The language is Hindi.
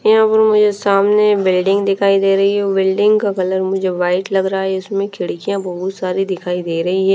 यहाँ पर मुझे सामने बिल्डिंग दिखाई दे रही है बिल्डिंग का कलर मुझे व्हाईट लग रहा है इसमें खिड़कियाँ बहुत सारी दिखाई दे रही हैं।